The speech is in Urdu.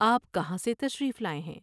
آپ کہاں سے تشریف لاۓ ہیں ؟